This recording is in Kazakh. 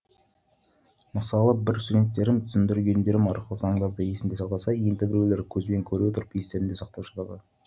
мысалы бір студенттерім түсіндіргендерім арқылы заңдарды есінде сақтаса енді біреулері көзбен көре отырып естерінде сақтап жатады